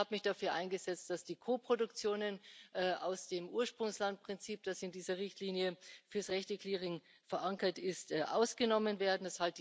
Ich habe mich dafür eingesetzt, dass die Koproduktionen aus dem Ursprungslandprinzip, das in dieser Richtlinie für Rechte Clearing verankert ist, ausgenommen werden